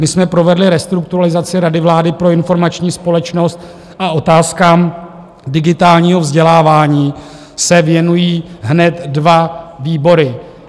My jsme provedli restrukturalizaci Rady vlády pro informační společnost a otázkám digitálního vzdělávání se věnují hned dva výbory.